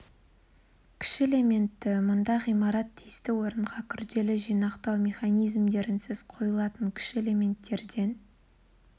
кіші элементті мұнда ғимарат тиісті орынға күрделі жинақтау механизмдерінсіз қойылатын кіші элементтерден